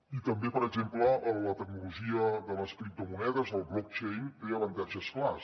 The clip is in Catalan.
i també per exemple la tecnologia de les criptomonedes el blockchain té avantatges clars